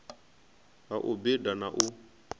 ha u bida na u